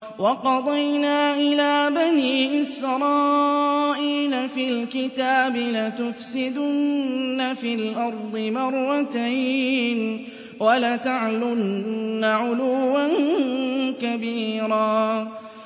وَقَضَيْنَا إِلَىٰ بَنِي إِسْرَائِيلَ فِي الْكِتَابِ لَتُفْسِدُنَّ فِي الْأَرْضِ مَرَّتَيْنِ وَلَتَعْلُنَّ عُلُوًّا كَبِيرًا